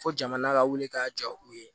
Fo jamana ka wuli ka jɔ u ye